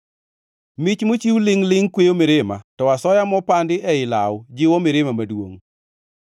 Mich mochiw lingʼ-lingʼ kweyo mirima to asoya mopandi ei law jiwo mirima maduongʼ.